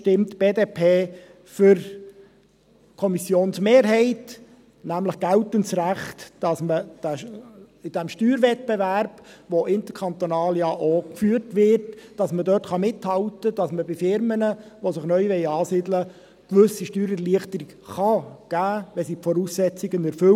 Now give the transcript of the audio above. Deshalb stimmt die BDP für die Kommissionsmehrheit, nämlich für geltendes Recht in diesem Steuerwettbewerb, der ja auch interkantonal geführt wird, damit man dort mithalten kann, damit man Firmen, die sich neu ansiedeln wollen, eine gewisse Steuererleichterung geben , wenn sie die Voraussetzungen erfüllen.